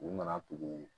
U nana tugu